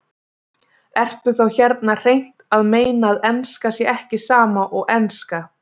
Ertu þá hérna hreint að meina að enska sé ekki sama og enska?